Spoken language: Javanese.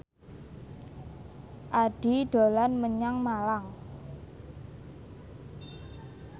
Addie dolan menyang Malang